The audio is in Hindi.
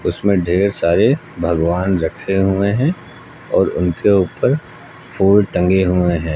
इसमें ढेर सारे भगवान रखे हुए हैं और उनके ऊपर फूल टंगे हुए हैं।